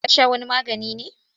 Ya sha wani magani ne?